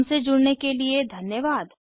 हमसे जुड़ने के लिए धन्यवाद